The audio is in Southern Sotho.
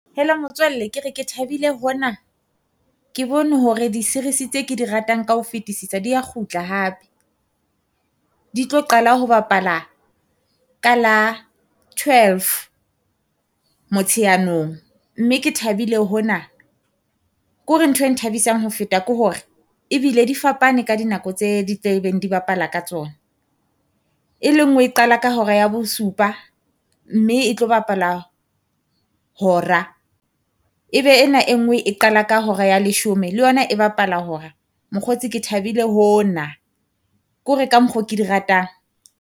Hello motswalle ke re ke thabile hona, ke bone hore di-series tse ke di ratang ka ho fetisisa dia kgutla hape. Di tlo qala ho bapala ka la twelve motsheanong mme ke thabile hona. Ko re ntho e nthabisang ho feta ko hore ebile di fapane ka dinako tse di tlebeng di bapala ka tsona, e le ngwe e qala ka hora ya bosupa a mme e tlo bapala hora. Ebe ena e nngwe e qala ka hora ya leshome le yona e bapala hora. Mokgotsi Ke thabile ho na ko re ka mokgo ke di ratang.